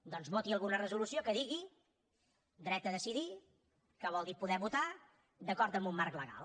doncs voti alguna resolució que digui dret a decidir que vol dir poder votar d’acord amb un marc legal